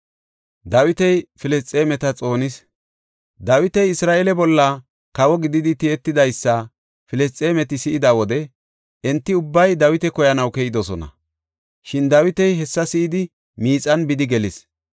Dawiti Isra7eele bolla kawo gididi tiyetidaysa Filisxeemeti si7ida wode enti ubbay Dawita koyanaw keyidosona; shin Dawiti hessa si7idi miixan bidi gelis.